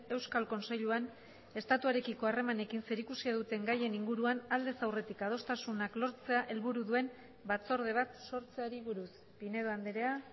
euskal kontseiluan estatuarekiko harremanekin zerikusia duten gaien inguruan aldez aurretik adostasunak lortzea helburu duen batzorde bat sortzeari buruz pinedo andrea